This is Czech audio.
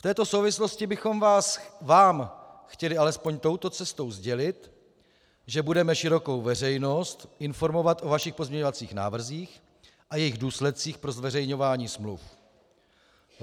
"V této souvislosti bychom Vám chtěli alespoň touto cestou sdělit, že budeme širokou veřejnost informovat o Vašich pozměňovacích návrzích a jejich důsledcích pro zveřejňování smluv.